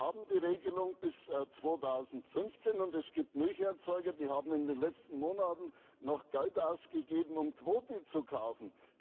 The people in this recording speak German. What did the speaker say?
Wir haben die Regelung bis 2015, und es gibt Milcherzeuger, die haben in den letzten Monaten noch Geld ausgegeben, um Quoten zu kaufen.